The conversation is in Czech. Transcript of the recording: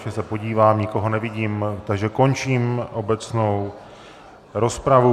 Ještě se podívám, nikoho nevidím, takže končím obecnou rozpravu.